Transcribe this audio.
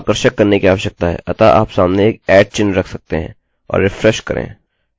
आपको आकर्षक करने की आवश्यकता है अतः आप सामने एक @ at चिह्न रख सकते हैं और रिफ्रेश करें